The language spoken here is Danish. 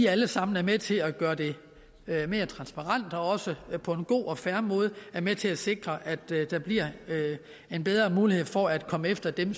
alle sammen er med til at gøre det mere transparent og også på en god og fair måde er med til at sikre at der bliver bedre mulighed for at komme efter dem